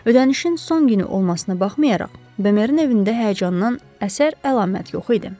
Ödənişin son günü olmasına baxmayaraq, Bömerin evində həyəcandan əsər-əlamət yox idi.